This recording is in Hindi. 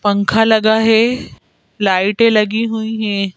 पंखा लगा है लाइटें लगी हुई हैं।